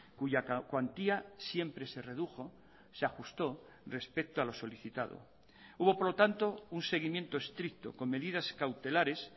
cuya cuantía siempre se redujo se ajustó respecto a lo solicitado hubo por lo tanto un seguimiento estricto con medidas cautelares